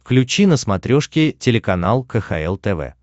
включи на смотрешке телеканал кхл тв